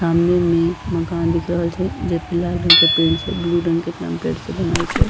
सामने में मकान दिख रहल छै जे पे लाल रंग के पेंट छै ब्लू रंग के एकरा म पेंड़ से बनल छे।